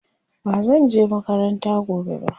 bazan je makaranta gobe ba